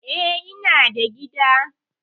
Eh, ina da gida.